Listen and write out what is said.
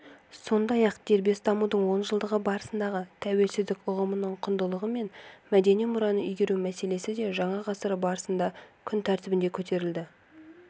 сондай-ақ дербес дамудың онжылдығы барысындағы тәуелсіздік ұғымының құндылығы мен мәдени мұраны игеру мәселесі де жаңа ғасыр басында күн тәртібіне көтерілді